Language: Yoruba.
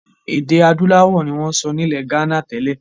Èdè adúláwọ̀ ni wọn ń sọ nilẹ gánà tẹ́lẹ̀.